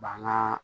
Bangan